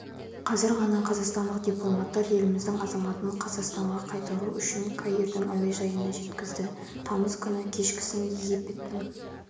қазір ғана қазақстандық дипломаттар еліміздің азаматын қазақстанға қайтару үшін каирдің әуежайына жеткізді тамыз күні кешкісін египеттің